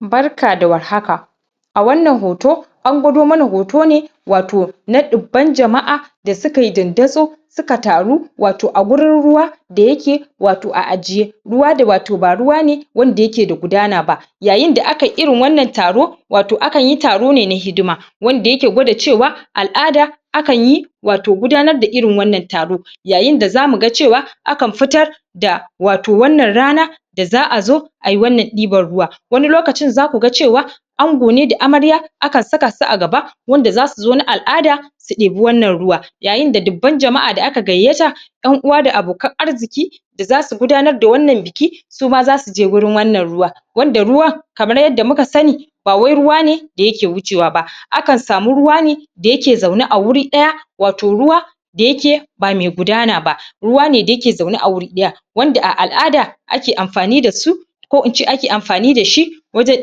Barka da war haka a wannan hoto an gwado mana hoto ne wato na ɗubban jama'a da suka yi dandazo su ka taru wato a gurin ruwa da yake wato a ajiye ruwa da wato ba ruwa ne wanda yake da gudana ba yayin da aka yi irin wannan taro wato akan yi taro ne hidima wanda yake gwada cewa al'ada akan yi wato gudanar da irin wannan taro yayin da za mu ga cewa akan fitar da wato wannan rana da za a zo a yi wannan ɗibar ruwa wani lokacin za ku ga cewa ango ne da amarya akan saka su a gaba wanda za su zo na al'ada su ɗibi wannan ruwa yayin da dubban jama'a da aka gayyata ƴan uwa da abokan arziki da za su gudanar da wannan buki su ma za su je gurin wannan ruwa wanda ruwa kamar yadda muka sani ba wai ruwa ne da yake wucewa ba akan samu ruwa ne da yake zaune a wuri ɗaya wato ruwa da yake ba me gudana ba ruwa ne da yake zaune a wuri ɗaya wanda a al'ada ake amfani da su ko ince ake amfani da shi wajen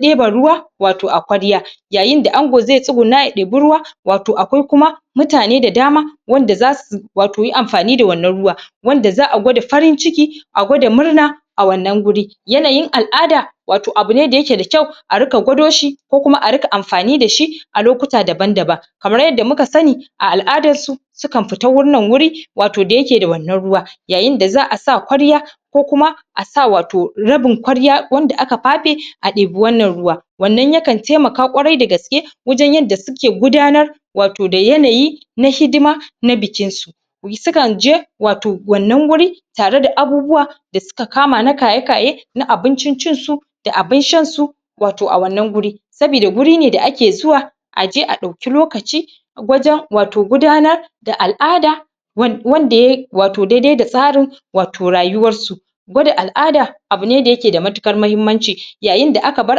ɗeba ruwa wato a kwarya yayin da ango ze tsuguna ya ɗebi ruwa wato akwai kuma mutane da dama wanda za su wato yi amfani da wannan ruwa wanda za a gwada farin-ciki a gwada murna a wannan guri yanayin al'ada wato abu ne da yake da kyau a rika gwado shi ko kuma a rika amfani da shi a lokuta daban-daban kamar yadda muka sani a al'adarsu su kan fita wannan wuri wato da yake da wannan ruwa yayin da za a sa kwarya ko kuma a sa wato rabin kwarya wanda aka fafe a ɗebi wannan ruwa wannan ya kan temaka kwarai da gaske wajen yanda suke gudanar wato da yanayi na hidima na bikinsu su kan je wato wannan wuri tare da abubuwa da suka kama na kaye-kaye na abincin cin su da abin shansu wato a wannan guri sabida guri ne da ake zuwa a je a ɗauki lokaci wajen wato gudanar da al'ada wanda ya yi wato daidai da tsarin wato rayuwarsu gwada al'ada abu ne da yake da matukar muhimmanci yayin da aka bar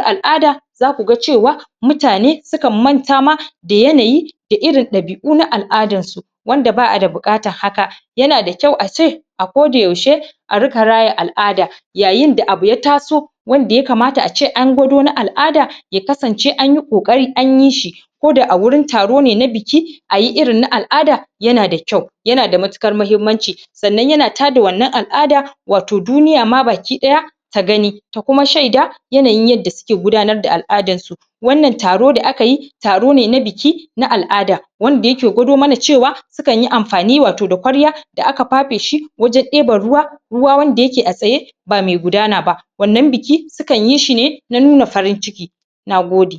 al'ada za ku ga cewa mutane su kan manta ma da yanayi da irin ɗabi'u na al'adansu wanda ba a da buƙatan haka yana da kyau a ce a ko da yaushe a rika raya al'ada yayin da abu ya taso wanda ya kamata ace an gwado na al'ada ya kasance an yi kokari an yi shi ko da a wurin taro ne na buki a yi irin na al'ada yana da kyau yana da matukar muhimmanci sannan yanan tada wannan al'ada wato duniya ma bakiɗaya ta gani ta kuma shaida yanayin yadda suke gudanar da al'adarsu wannan taro da aka yi taro ne na buki na al'ada wanda yake gwado mana cewa su kan yi amfani wato da kwarya da aka fafe shi wajen ɗebe ruwa ruwa wanda yake a tsaye ba me gudana ba wannan buki su kan yi shi ne na nuna farin-ciki na gode